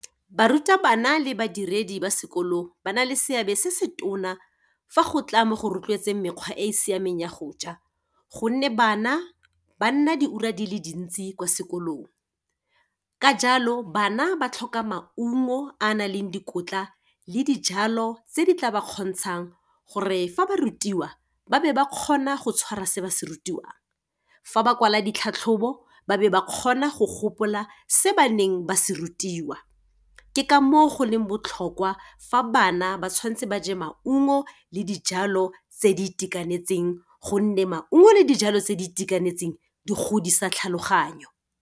Barutabana le badiredi ba sekolo, ba na le seabe se se tona fa go tla mo go rotloetseng mekgwa e e siameng ya goja, gonne bana ba nna diura di le dintsi kwa sekolong. Ka jalo, bana ba tlhoka maungo a nang le dikotla le dijalo tse di tla ba kgontshang gore fa ba rutiwa ba be ba kgona go tshwara se ba se rutiwang. Fa ba kwala ditlhatlhobo, ba be ba kgona go gopola se ba neng ba se rutiwa. Ke ka moo go leng botlhokwa fa bana ba tshwanetseng ba ja maungo le dijalo tse di itekanetseng gonne maungo le dijalo tse di itekanetseng, di godisa tlhaloganyo.